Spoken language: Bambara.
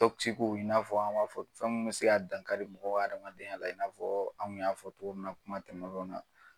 i n'a fɔ an b'a fɔ fɛn mun bɛ se ka dankari mɔgɔ adamadenya la, i n'a fɔ anw kun y'a fɔ togo min na kuma tɛmɛnew na.